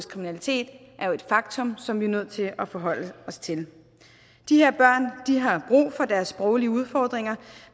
kriminalitet er jo et faktum som vi er nødt til at forholde os til de her børn har brug for deres sproglige udfordringer